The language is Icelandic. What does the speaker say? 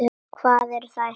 Hvaðan eru þær.